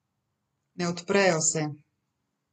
Ne odprejo se.